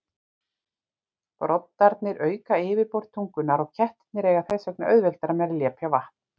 Broddarnir auka yfirborð tungunnar og kettirnir eiga þess vegna auðveldara með að lepja vatn.